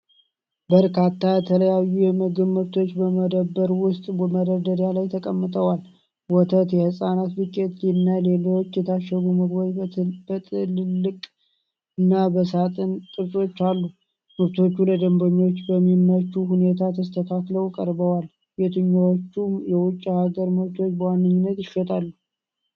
በርካታ የተለያዩ የምግብ ምርቶች በመደብር ውስጥ መደርደሪያዎች ላይ ተቀምጠዋል። ወተት፣ የሕጻናት ዱቄት እና ሌሎች የታሸጉ ምግቦች በጥቅልል እና በሳጥን ቅርጾች አሉ። ምርቶቹ ለደንበኞች በሚመች ሁኔታ ተስተካክለው ቀርበዋል። የትኞቹ የውጭ ሀገር ምርቶች በዋነኝነት ይሸጣሉ?